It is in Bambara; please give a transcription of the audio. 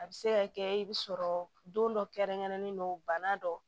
A bɛ se ka kɛ i bɛ sɔrɔ don dɔ kɛrɛnkɛrɛnnen don bana dɔ